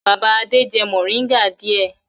Bàbá Adé jẹ mòríngà díẹ̀.